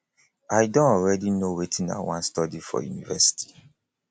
i don already know wetin i wan study for university